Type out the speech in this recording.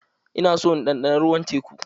Ina so in ɗanɗana ruwan teku.